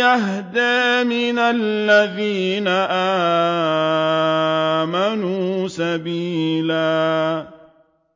أَهْدَىٰ مِنَ الَّذِينَ آمَنُوا سَبِيلًا